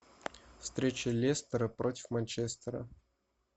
встреча лестера против манчестера